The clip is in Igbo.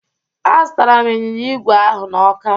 Azụtaram ịnyịnya igwe ahụ na Ọka.